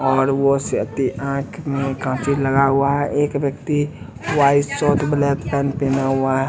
और वह आंख में काजल लगा हुआ है एक व्यक्ति व्हाइट शर्ट ब्लैक पेंट पेहना हुआ है।